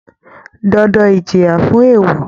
Dandan Ìjìyà fún èèwọ̀